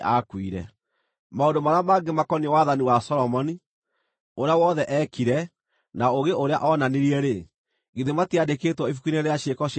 Maũndũ marĩa mangĩ makoniĩ wathani wa Solomoni, ũrĩa wothe eekire, na ũũgĩ ũrĩa onanirie-rĩ, githĩ matiandĩkĩtwo ibuku-inĩ rĩa ciĩko cia Solomoni?